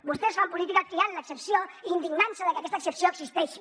vostès fan política triant l’excepció i indignant se de que aquesta excepció existeixi